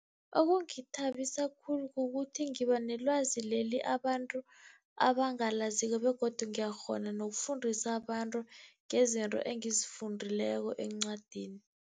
Okungithabisa khulu kukuthi ngiba nelwazi leli abantu abangalaziko, begodu ngiyakghona nokufundisa abantu ngezinto engizifundileko encwadini.